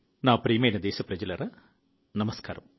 నా ప్రియమైన దేశ ప్రజలారా నమస్కారం